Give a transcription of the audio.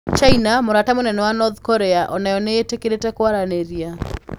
China, mũrata mũnene wa North Korea, o nayo nĩ ĩtetĩkĩrĩte kwaranĩria.